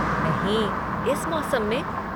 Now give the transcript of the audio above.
नहीं, इस मौसम में?